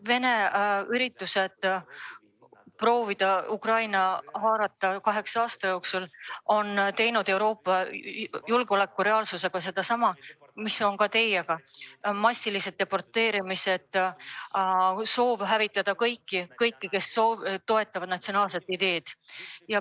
Venemaa püüded proovida kaheksa aasta jooksul Ukrainat hõivata on teinud Euroopa julgeoleku reaalsusega sama, mida on ka teiega tehtud: massilised deporteerimised, soov hävitada kõik, kes toetavad natsionaalseid ideid.